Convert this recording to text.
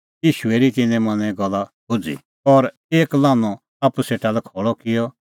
ईशू हेरी तिन्नें मनें गल्ल भुझ़ी और एक लान्हअ आप्पू सेटा खल़अ किअ और